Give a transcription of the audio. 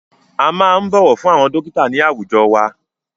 A máa ń bọ̀wọ̀ fún àwọn dọ́kítà ní àwùjọ wa.